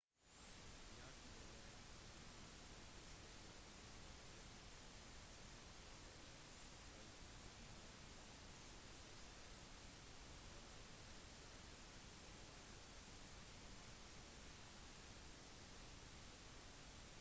jardín de la unión. dette stedet ble opprettet som atrium for et 1600-tallets kloster hvorav templo de san diego er den eneste bygningen som er igjen